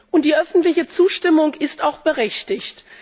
Und die öffentliche Zustimmung ist auch berechtigt.